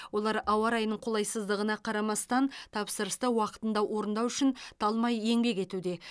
олар ауа райының қолайсыздығына қарамастан тапсырысты уақытында орындау үшін талмай еңбек етуде